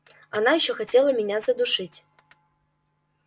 она ещё хотела меня задушить